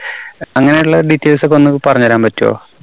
അങ്ങനെയുള്ള details ഒക്കെ ഒന്നു പറഞ്ഞുതരാൻ പറ്റുവോ?